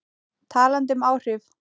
Talandi um áhrif.